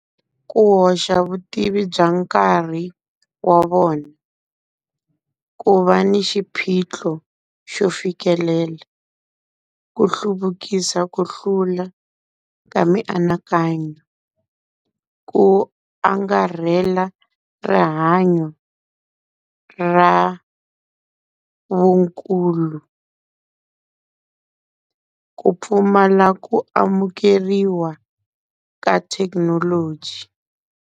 Ku hoxa vutivi bya nkarhi wa vona. Ku va ni xiphiqo xo fikelela, ku hluvukisa ku hlula ka mianakanyo, ku angarhela rihanyo ra vukulu, ku pfumala ku amukeriwa ka thekinoloji.